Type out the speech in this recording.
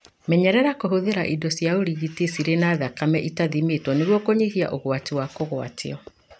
Menyerera kũhũthĩra indo cia ũrigiti cirĩ na thakame ĩtathimĩtwo nĩguo kũnyihia ũgwati wa kũgwatio.